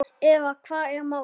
Eða hvað er málið?